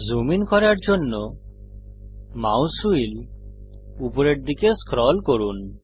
zoom in করার জন্য mouse wheel উপরের দিকে স্ক্রল করুন